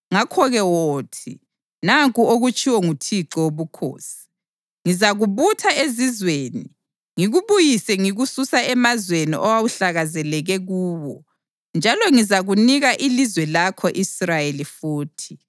Ngakho-ke wothi: ‘Nanku okutshiwo nguThixo Wobukhosi: Ngizakubutha ezizweni ngikubuyise ngikususa emazweni owawuhlakazekele kuwo, njalo ngizakunika ilizwe lako-Israyeli futhi.’